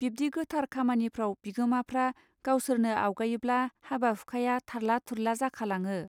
बिब्दि गोथार खामानफ्रिाव बिगोमाफ्रा गावसोरनो आवगायोब्ला हाबा हुखाया थारला थुरला जाखालाङो.